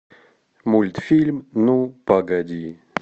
мультфильм ну погоди